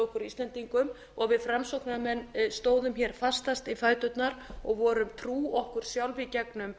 okkur íslendingum og við framsóknarmenn stóðum fastast í fæturnar og vorum trú okkur sjálf í gegnum